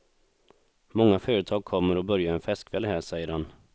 Många företag kommer och börjar en festkväll här, säger han.